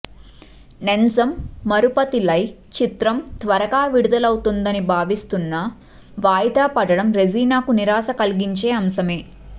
నెంజమ్ మరపతిల్లై చిత్రం త్వరగా విడుదలవుతుందని భావిస్తున్న వాయిదా పడడం రెజీనా కు నిరాశ కలిగించే అంశమే